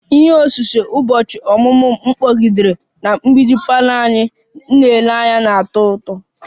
Ihe osise ụbọchị ọmụmụ m kpọgidere na mgbidi parlour anyị na-ele anya na-atọ ụtọ